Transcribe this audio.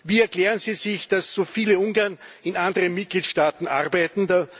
Wie erklären Sie sich, dass so viele Ungarn in anderen Mitgliedstaaten arbeiten?